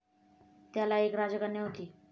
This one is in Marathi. त्याला एक राजकन्या होती.